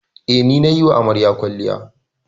Eh, ni nayi wa amaryar kwalliya.